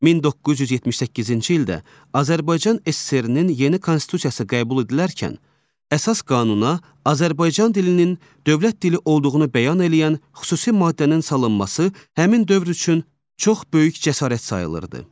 1978-ci ildə Azərbaycan SSRİ-nin yeni Konstitusiyası qəbul edilərkən əsas qanuna Azərbaycan dilinin dövlət dili olduğunu bəyan eləyən xüsusi maddənin salınması həmin dövr üçün çox böyük cəsarət sayılırdı.